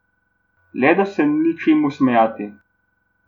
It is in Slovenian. Le da se ni čemu smejati.